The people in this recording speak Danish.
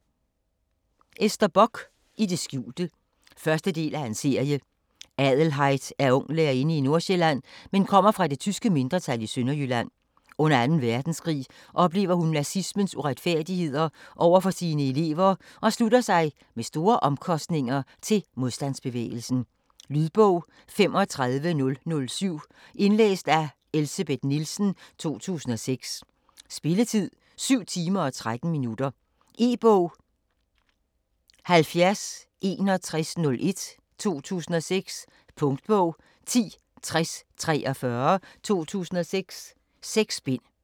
Bock, Ester: I det skjulte 1. del af serie. Adelheid er ung lærerinde i Nordsjælland, men kommer fra det tyske mindretal i Sønderjylland. Under 2. verdenskrig oplever hun nazismens uretfærdigheder over for sine elever og slutter sig - med store omkostninger - til modstandsbevægelsen. Lydbog 35007 Indlæst af Elsebeth Nielsen, 2006. Spilletid: 7 timer, 13 minutter. E-bog 706101 2006. Punktbog 106043 2006. 6 bind.